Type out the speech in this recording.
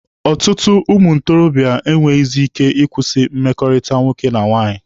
Ọtụtụ ụmụ ntorobịa enweghịzị ike ịkwụsịlị mmekọrịta nwoke na nwaanyị.